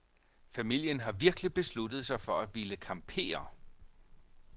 Familien har virkelig besluttet sig for at ville campere.